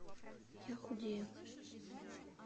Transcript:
я худею